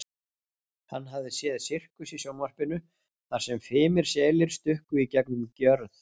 Hann hafði séð sirkus í sjónvarpinu þar sem fimir selir stukku í gegnum gjörð.